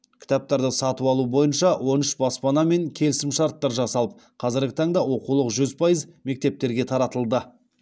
кітаптарды сатып алу бойынша он үш баспанамен келісімшарттар жасалып қазіргі таңда оқулық жүз пайыз мектептерге таратылды